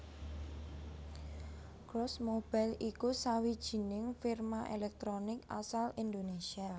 Cross Mobile iku sawijining firma èlèktronik asal Indonésia